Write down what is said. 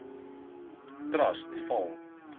nbf trust val